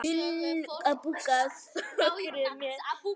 Hugur okkar er með þeim.